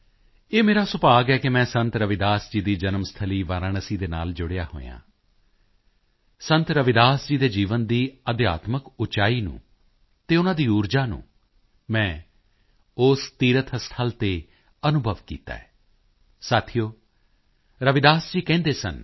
ਇਹ ਮੇਰਾ ਸੁਭਾਗ ਹੈ ਕਿ ਮੈਂ ਸੰਤ ਰਵਿਦਾਸ ਜੀ ਦੀ ਜਨਮ ਸਥਲੀ ਵਾਰਾਣਸੀ ਨਾਲ ਜੁੜਿਆ ਹੋਇਆ ਹਾਂ ਸੰਤ ਰਵਿਦਾਸ ਜੀ ਦੇ ਜੀਵਨ ਦੀ ਅਧਿਆਤਮਿਕ ਉਚਾਈ ਨੂੰ ਅਤੇ ਉਨ੍ਹਾਂ ਦੀ ਊਰਜਾ ਨੂੰ ਮੈਂ ਉਸ ਤੀਰਥ ਸਥਲ ਤੇ ਅਨੁਭਵ ਕੀਤਾ ਹੈ ਸਾਥੀਓ ਰਵਿਦਾਸ ਜੀ ਕਹਿੰਦੇ ਸਨ